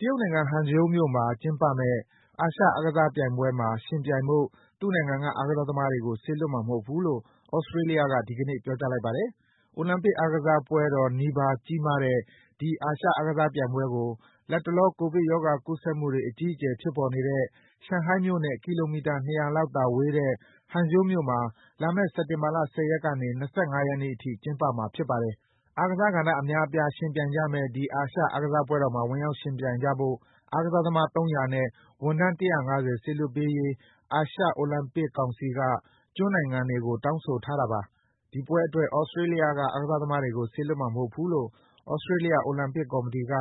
တရုတ်နိုင်ငံ၊ Hangzhou မြို့မှာ ကျင်းပမယ့် အာရှအားကစားပြိုင်ပွဲမှာ ယှဉ်ပြိုင်ဖို့ သူ့နိုင်ငံက အားကစားသမားတွေကို စေလွှတ်မှာမဟုတ်ဘူးလို့ သြစတြေးလျက ဒီကနေ့ ပြောကြားလိုက်ပါတယ်။ အိုလံပစ်အားကစားပွဲတော်နီးပါး ကြီးမားတဲ့ ဒီ အာရှအားကစားပြိုင်ပွဲကို လတ်တလော ကိုဗစ်ရောဂါကူးစက်မှုတွေ အကြီးအကျယ် ဖြစ်ပေါ်နေတဲ့ ရှန်ဟိုင်းမြို့နဲ့ ကီလိုမီတာ ၂၀၀ လောက်သာဝေးတဲ့ Hangzhou မြို့မှာ လာမယ့် စက်တင်ဘာလ ၁၀ ရက်ကနေ ၂၅ ရက်နေ့အထိ ကျင်းပမှာ ဖြစ်ပါတယ်။ အားကစားကဏ္ဍ အများအပြား ယှဉ်ပြိုင်ကြမယ့် ဒီ အာရှအားကစားပွဲတော်မှာ ဝင်ရောက်ယှဉ်ပြိုင်ကြဖို့ အားကစားသမား ၃၀၀ နဲ့ ဝန်ထမ်း ၁၅၀ စေလွှတ်ပေးဖို့ အာရှ အိုလံပစ်ကောင်စီက Oceania ကျွန်းနိုင်ငံတွေကို တောင်းဆိုထားတာပါ။ ဒီပွဲအတွက် သြစတြေးလျက အားကစားသမားတွေကို စေလွှတ်မှာမဟုတ်ဘူးလို့ သြစတြေးလျ အိုလံပစ်ကော်မတီက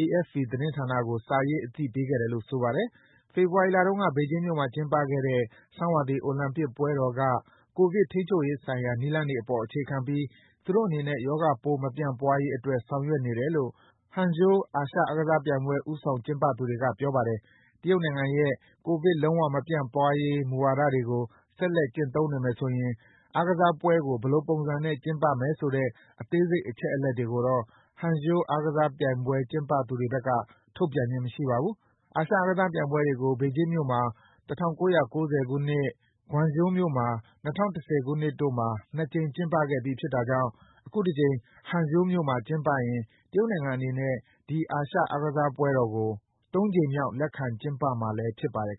AFP သတင်းဌာနကို စာရေး အသိပေးခဲ့တယ်လို့ ဆိုပါတယ်။ ဖေဖော်ဝါရီလတုန်းက ဘေဂျင်းမြို့မှာ ကျင်းပခဲ့တဲ့ ဆောင်းရာသီ အိုလံပစ်ပွဲတော်က ကိုဗစ်ထိန်းချုပ်ရေးဆိုင်ရာ နည်းလမ်းတွေအပေါ် အခြေခံပြီး သူတို့အနေနဲ့ ရောဂါပိုး မပြန့်ပွားရေးအတွက် ဆောင်ရွက်နေတယ်လို့ Hangzhou အာရှအားကစားပြိုင်ပွဲ ဦးဆောင်ကျင်းပသူတွေက ပြောပါတယ်။ တရုတ်နိုင်ငံရဲ့ ကိုဗစ် လုံးဝမပြန့်ပွားရေး မူဝါဒတွေကို ဆက်လက်ကျင့်သုံးနေမယ်ဆိုရင် အားကစားပွဲကို ဘယ်လိုပုံစံနဲ့ ကျင်းပမယ်ဆိုတဲ့ အသေးစိတ် အချက်အလက်တွေကိုတော့ Hangzhou အာရှအားကစားပြိုင်ပွဲ ကျင်းပသူတွေဘက်က ထုတ်ပြန်ခြင်း မရှိပါဘူး။ အာရှအားကစားပြိုင်ပွဲတွေကို ဘေဂျင်းမြို့မှာ ၁၉၉၀ ခုနှစ်၊ Guangzhou မြို့မှာ ၂၀၁၀ ခုနှစ်တို့မှာ ၂ ကြိမ် ကျင်းပခဲ့ပြီး ဖြစ်တာကြောင့် အခုတကြိမ် Hangzhou မြို့မှာ ကျင်းပရင် တရုတ်နိုင်ငံအနေနဲ့ ဒီအားကစားပွဲကို ၃ ကြိမ်မြောက် လက်ခံကျင်းပမှာလည်း ဖြစ်ပါတယ်